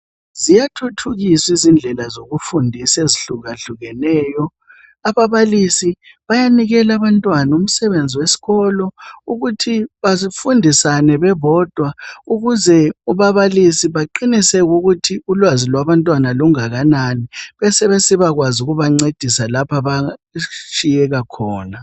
Ziyathuthukiswa indlela zokufundisa ezihlukahlukeneyo ababalisi bayanikela abantwana umsebenzi wesikolo ukuthi bafundisane bebodwa ukuze ababalisi baqiniseke ukuthi ulwazi lwabantwana lungakanani besebesiba kwazi ukubancedisa lapha abehluleka khona